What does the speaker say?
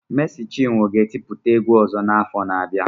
Mési chinwo ga etiputa egwu ozo n'afo abia